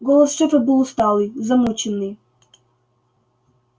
голос шефа был усталый замученный